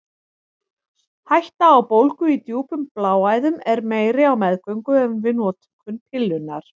Hætta á bólgu í djúpum bláæðum er meiri á meðgöngu en við notkun pillunnar.